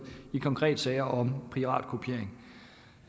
i konkrete sager om piratkopiering